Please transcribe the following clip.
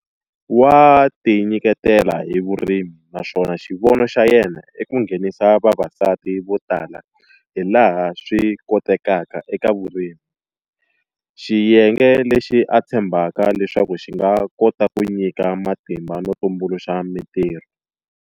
Wa tinyiketela hi vurimi naswona xivono xa yena i ku nghenisa vavasati vo tala hilaha swi kotekaka eka vurimi, xiyenge lexi a tshembaka leswaku xi nga kota ku nyika matimba no tumbuluxa mitirho.